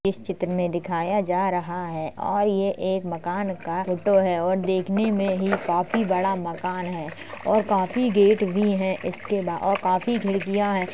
इस चित्र में दिखाया जा रहा है और ये एक मकान का फोटो है और देखने में ही काफी बड़ा मकान है और काफी गेट भी हैं। इसके बा और काफी खिड़कियां हैं।